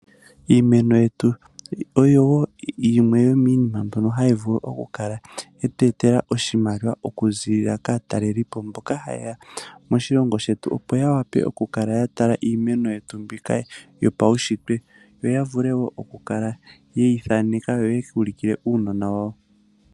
Iimeno yetu oyo wo yimwe yomiinima mbyono hayi vulu okukala ye tu etela oshimaliwa oku ziilila kaatalelipo, mboka haye ya moshilongo shetu, opo ya wape oku kala ya tala kiimeno yetu mbika yopaushitwe, opo ya vule wo oku kala ye yi thaneka yo yeku ulukile uunona wawo.